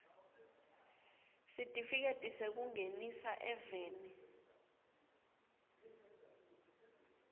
sitifiketi sekungenisa eveni